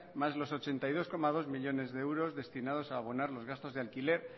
más los ochenta y dos coma dos millónes de euros destinados a abonar los gastos de alquiler